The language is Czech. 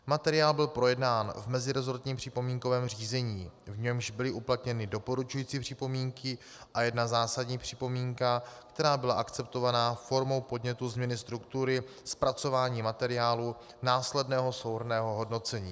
Materiál byl projednán v meziresortním připomínkovém řízení, v němž byly uplatněny doporučující připomínky a jedna zásadní připomínka, která byla akceptovaná formou podnětu změny struktury zpracování materiálu následného souhrnného hodnocení.